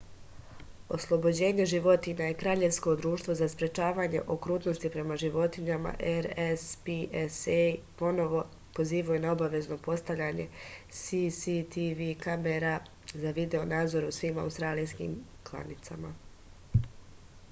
ослобођење животиња и краљевско друштво за спречавање окрутности према животињама рспца поново позивају на обавезно постављање cctv камера за видео-надзор у свим аустралијским кланицама